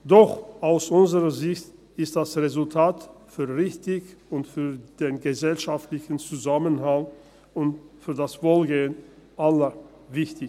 Doch aus unserer Sicht ist das Resultat richtig und für den gesellschaftlichen Zusammenhalt und für das Wohlergehen aller wichtig.